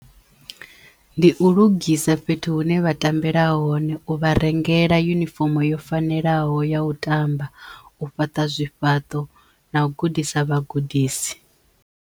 Ndi u lugisa fhethu hune vha tambela hone, u vha rengela yunifomo yo fanelaho ya u tamba, u fhaṱa zwifhaṱo na u gudisa vhagudisi.